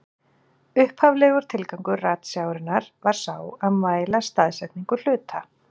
Upphaflegur tilgangur ratsjárinnar var sá að mæla staðsetningu hluta.